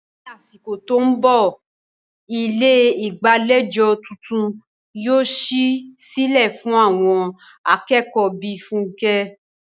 Ní àsìkò tó ń bọ̀, ilé ìgbàlejò tuntun yóò ṣí sílẹ̀ fún àwọn akẹ́kọ̀ọ́ bíi Funke.